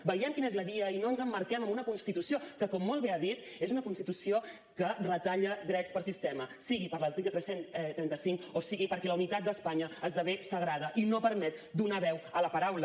veiem quina és la via i no ens emmarquem en una constitució que com molt bé ha dit és una constitució que retalla drets per sistema sigui per l’article cent i trenta cinc o sigui perquè la unitat d’espanya esdevé sagrada i no permet donar veu a la paraula